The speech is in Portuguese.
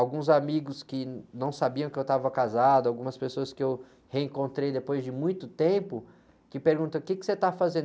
Alguns amigos que não sabiam que eu estava casado, algumas pessoas que eu reencontrei depois de muito tempo, que perguntam, o quê que você está fazendo?